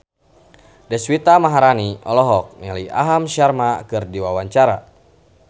Deswita Maharani olohok ningali Aham Sharma keur diwawancara